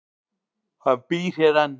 Hann býr hér enn.